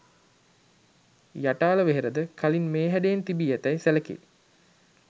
යටාල වෙහෙරද කලින් මේ හැඩයෙන් තිබී ඇතැයි සැලකේ.